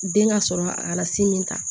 Den ka sɔrɔ a si min ta